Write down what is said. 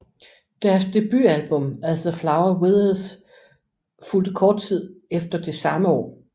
Deres debutalbum As The Flower Withers fulgte kort tid efter det samme år